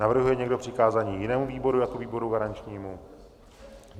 Navrhuje někdo přikázání jinému výboru jako výboru garančnímu?